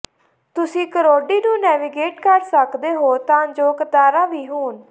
ਤੁਸੀਂ ਕਰੋਡੀ ਨੂੰ ਨੈਵੀਗੇਟ ਕਰ ਸਕਦੇ ਹੋ ਤਾਂ ਜੋ ਕਤਾਰਾਂ ਵੀ ਹੋਣ